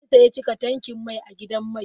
Zan sayi cika tankin mai a gidan mai.